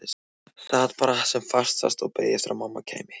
Sat bara sem fastast og beið eftir að mamma kæmi.